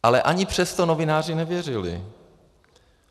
Ale ani přesto novináři nevěřili.